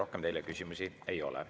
Rohkem teile küsimusi ei ole.